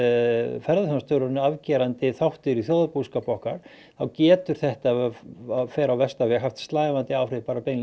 ferðaþjónustan er orðin afgerandi þáttur í þjóðarbúskap okkar þá getur þetta ef allt fer á versta veg haft slævandi áhrif